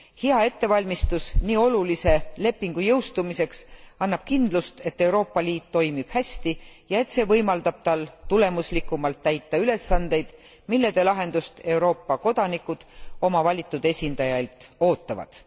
Hea ettevalmistus nii olulise lepingu jõustumiseks annab kindlust, et Euroopa Liit toimib hästi ja et see võimaldab tal tulemuslikumalt täita ülesandeid, mille lahendust Euroopa kodanikud oma valitud esindajailt ootavad.